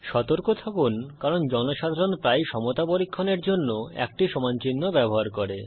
সতর্ক থাকুন কারণ জনসাধারণ প্রায়ই সমতা পরীক্ষণের জন্য একটি সমান চিহ্ন ব্যবহার করে